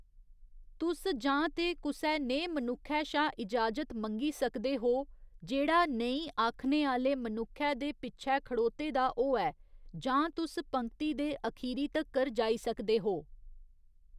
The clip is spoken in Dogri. तुस जां ते कुसै नेहे मनुक्खै शा इजाजत मंग्गी सकदे हो जेह्‌‌ड़ा नेईं आखने आह्‌‌‌ले मनुक्खै दे पिच्छै खड़ोते दा होऐ, जां तुस पंक्ति दे अखीरी तक्कर जाई सकदे हो।